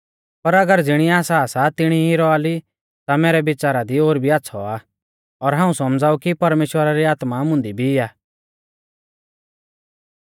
पर अगर ज़िणी आसा सा तिणी ई रौआ ली ता मैरै बिच़ारा दी ओर भी आच़्छ़ौ आ और हाऊं सौमझ़ाऊ कि परमेश्‍वरा री आत्मा मुंदी भी आ